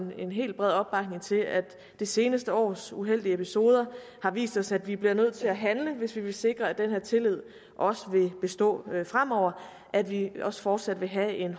en helt bred opbakning til at det seneste års uheldige episoder har vist os at vi bliver nødt til at handle hvis vi vil sikre at den her tillid også vil bestå fremover og at vi også fortsat vil have en